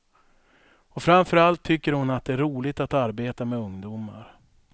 Och framförallt tycker hon att det är roligt att arbeta med ungdomar.